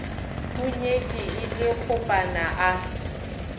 hunyetše e le kgopana a